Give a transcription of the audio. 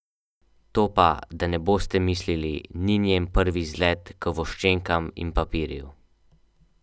To pa, da ne boste mislili, ni njen prvi izlet k voščenkam in papirju.